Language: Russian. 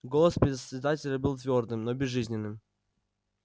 голос председателя был твёрдым но безжизненным